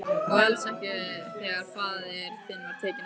Og alls ekki þegar faðir þinn var tekinn af.